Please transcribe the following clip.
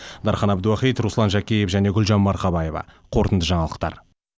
дархан әбдуахит руслан жәкеев гүлжан марқабаева қорытынды жаңалықтар